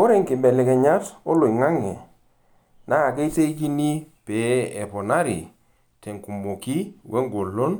Ore nkibelekenyat oloingange naa keitekini pee eponari tenkumoki wengolon